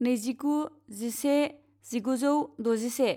नैजिगु जिसे जिगुजौ द'जिसे